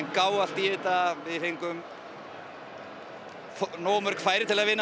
gáfu allt í þetta við fengum nógu mörk færi til að vinna